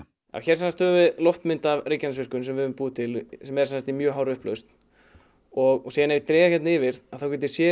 hér höfum við loftmynd af Reykjanesvirkjun sem við höfum búið til í mjög hárri upplausn og ef ég dreg hérna yfir get ég séð